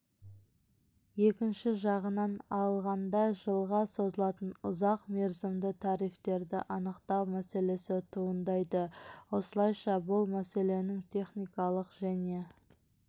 екінші жағынан алғанда жылға созылатын ұзақ мерзімді тарифтерді анықтау мәселесі туындайды осылайша бұл мәселенің техникалық және